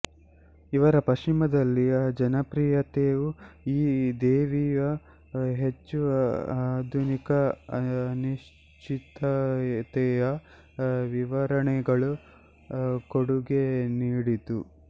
ಇವರ ಪಶ್ಚಿಮದಲ್ಲಿಯ ಜನಪ್ರಿಯತೆಯು ಈ ದೇವಿಯ ಹೆಚ್ಚು ಆಧುನಿಕ ಅನಿಶ್ಚಿತತೆಯ ವಿವರಣೆಗಳ ಕೊಡುಗೆ ನೀಡಿತು